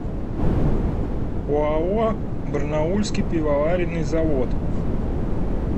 оао барнаульский пивоваренный завод